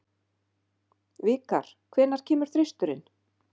Vikar, hvenær kemur þristurinn?